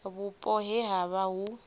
vhupo he ha vha hu